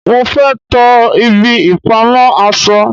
mo fé to ibi ìpamọ́ aṣọ